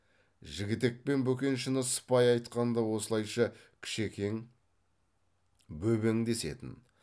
жігітек пен бөкеншіні сыпайы айтқанда осылайша кішекең бөбең десетін